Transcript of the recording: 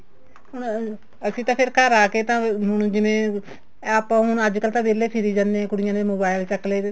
ਹੁਣ ਅਸੀਂ ਤਾਂ ਫ਼ੇਰਘਰ ਆ ਕੇ ਹੁਣ ਜਿਵੇਂ ਆਪਾਂ ਹੁਣ ਅੱਜਕਲ ਤਾਂ ਵਿਹਲੇ ਫਿਰੀ ਜਾਣੇ ਹਾਂ ਕੁੜੀਆਂ ਨੇ mobile ਚੱਕਲੇ